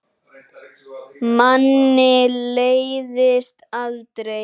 Manni leiðist aldrei.